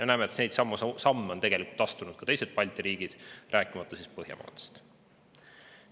Me näeme, et neidsamu samme on tegelikult astunud teised Balti riigid, rääkimata Põhjamaadest.